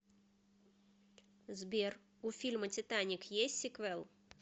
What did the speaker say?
сбер у фильма титаник есть сиквел